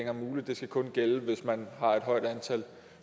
er muligt det skal kun gælde hvis man har et højt antal